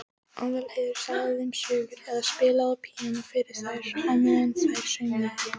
Aðalheiður sagði þeim sögur eða spilaði á píanó fyrir þær á meðan þær saumuðu.